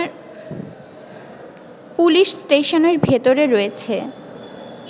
police স্টেশনের ভেতরে রয়েছে